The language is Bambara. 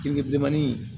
Kirin bilemanin